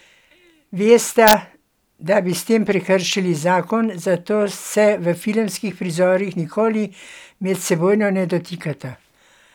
Vesta, da bi s tem prekršili zakon, zato se v filmskih prizorih nikoli medsebojno ne dotikata.